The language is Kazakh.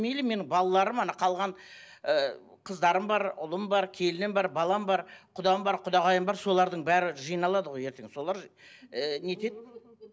мейлі менің балаларым қалған ыыы қыздарым бар ұлым бар келінім бар балам бар құдам бар құдағайым бар солардың бәрі жиналады ғой ертең солар ыыы не етеді